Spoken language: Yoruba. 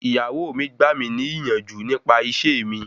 Ìyàwó mi gbà mí ní ìyànjú nípa ìṣe mi.